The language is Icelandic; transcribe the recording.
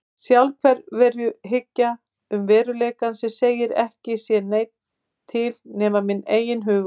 Sjálfsveruhyggja um veruleikann sem segir að ekki sé neitt til nema minn eigin hugur.